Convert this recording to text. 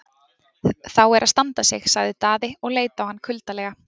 Þá er að standa sig, sagði Daði og leit á hann kuldalega.